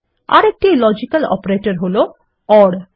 আরেকটি logical operator হলো ওর